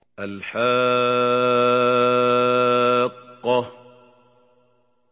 الْحَاقَّةُ